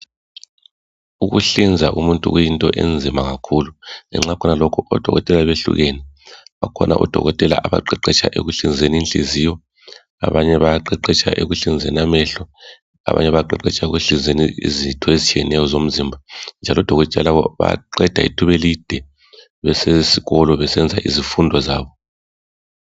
Ukuhlinza umuntu kuyinto enzima kakhulu. Ngenxa yakho lokho odokotela behlukene ,kukhona odokotela abaqeqesha ukuhlinza Inhliziyo. Labanye bayaqeqesha ekuhlinzeni amehlo ,abanye bayaqeqesha ekuhlinzeni izitho ezitshiyeneyo ezomzimba .Njalo odokotela labo bayaqeda ithubelide besezikolo ,besenza izifundo zabo.